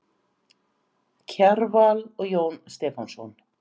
Kjarval og Jón Stefánsson.